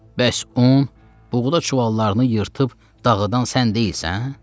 Bəs un, buğda çuvallarını yırtıb dağıdan sən deyilsən?